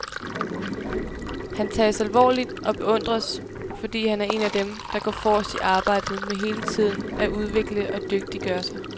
Han tages alvorligt og beundres, fordi han er en af dem, der går forrest i arbejdet med hele tiden at udvikle og dygtiggøre sig.